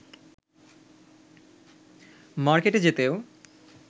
মার্কেটে যেতেও